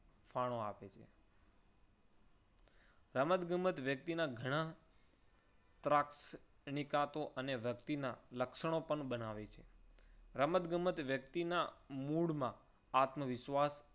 ફાળો આપે છે. રમત ગમત વ્યક્તિના ઘણા અને વ્યક્તિના લક્ષણો પણ બનાવે છે. રમતગમત વ્યક્તિના મૂળમાં આત્મવિશ્વાસ